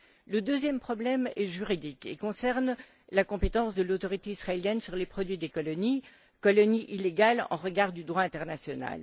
Le deuxième problème est juridique et concerne la compétence de l'autorité israélienne sur les produits des colonies, colonies illégales au regard du droit international.